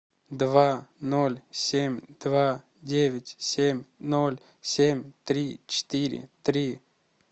два ноль семь два девять семь ноль семь три четыре три